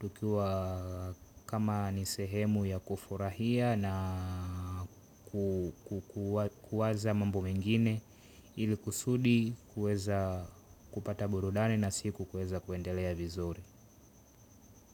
tukiwa kama nisehemu ya kufurahia na kuwaza mambo mengine ili kusudi kuweza kupata burudani na siku kuweza kuendelea vizuri.